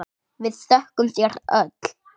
Við þökkum þér öll.